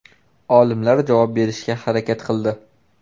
Olimlar javob berishga harakat qildi.